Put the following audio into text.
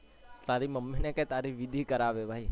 તારી mummy ને કે તારી વિધિ કરાવે ભાઈ